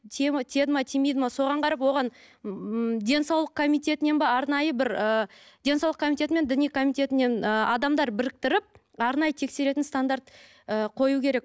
тие ме тиеді ме тимейді ме соған қарап оған ммм денсаулық комитетінен бе арнайы бір ы денсаулық комитеті мен діни комитетінен ы адамдар біріктіріп арнайы тексеретін стандарт ы қою керек